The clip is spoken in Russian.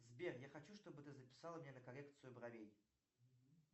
сбер я хочу чтобы ты записала меня на коррекцию бровей